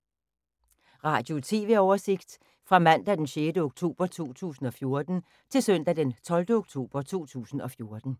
Radio/TV oversigt fra mandag d. 6. oktober 2014 til søndag d. 12. oktober 2014